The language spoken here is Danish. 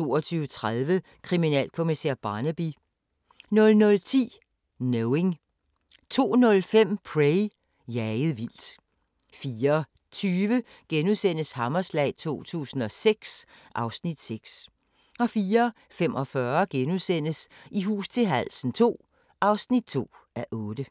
22:30: Kriminalkommissær Barnaby 00:10: Knowing 02:05: Prey – jaget vildt 04:20: Hammerslag 2006 (Afs. 6)* 04:45: I hus til halsen II (2:8)*